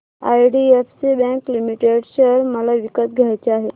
IDFC bank limited share मला विकत घ्यायचे आहेत